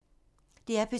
DR P2